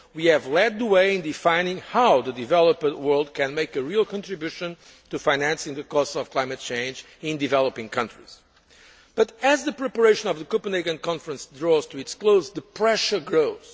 We have led the way in defining how the developing world can make a real contribution to financing the costs of climate change in developing countries. But, as the preparation of the Copenhagen conference draws to its close, the pressure grows.